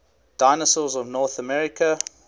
dinosaurs of north america